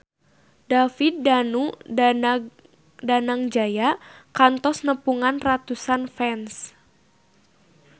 David Danu Danangjaya kantos nepungan ratusan fans